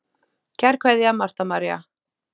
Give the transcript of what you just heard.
Kær kveðja, Marta María.